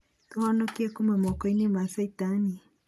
Tũ honokie kũma mako-inĩ ma caitani.